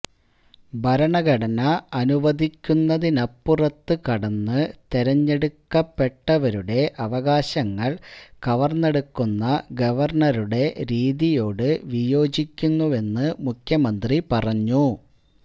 ഭരണഘടന അനുവദിക്കുന്നതിനപ്പുറത്ത് കടന്ന് തെരഞ്ഞെടുക്കപ്പെട്ടവരുടെ അവകാശങ്ങള് കവര്ന്നെടുക്കുന്ന ഗവര്ണരുടെ രീതിയോട് വിയോജിക്കുന്നുവെന്ന് മുഖ്യമന്ത്രി പറഞ്ഞു